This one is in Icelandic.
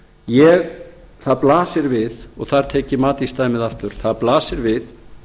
miður það blasir við og þar tek ég matís dæmið aftur það blasir við